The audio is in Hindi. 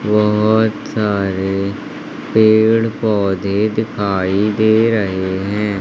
बहोत सारे पेड़ पौधे दिखाई दे रहे हैं।